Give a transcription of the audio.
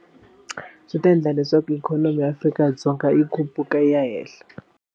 Swi ta endla leswaku ikhonomi ya Afrika-Dzonga yi khuphuka yi ya henhla.